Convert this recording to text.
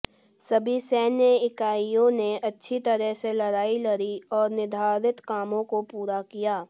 सभी सैन्य इकाइयों ने अच्छी तरह से लड़ाई लड़ी और निर्धारित कामों को पूरा किया